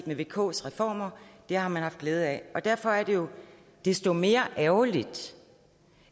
med vks reformer det har man haft glæde af og derfor er det jo desto mere ærgerligt